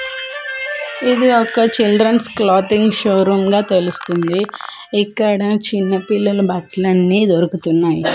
ఇది ఒక children's clothing show room గా తెలుస్తుంది ఇక్కడ చిన్న పిల్లలు బట్టలు అన్ని దొరుకుతున్నాయి.